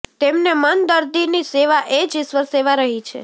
તેમને મન દર્દીની સેવા એ જ ઇશ્વર સેવા રહી છે